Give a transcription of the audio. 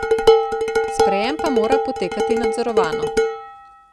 Sprejem pa mora potekati nadzorovano.